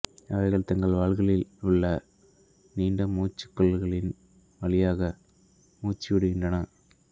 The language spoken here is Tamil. அவைகள் தங்கள் வால்களில் உள்ள நீண்ட மூச்சு குழல்களின் வழியாக மூச்சு விடுகின்றன